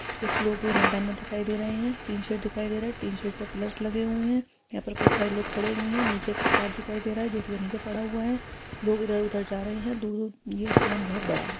कुछ लोग मैदान मे दिखाई दे रहे हैं टीन शेड दिखाई दे रहा है टीन शेड पे पिलर्स लगे हुए हैं यहाँ पर कई सारे लोग खड़े हुए हैं निचे का पार्ट दिखाई दे रहा है जो की पे पड़ा हुआ है लोग इधर उधर जा रहे हैं दूर-दूर ये स्टेडियम बहोत बड़ा है।